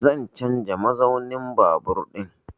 Zan canza mazaunin babur ɗin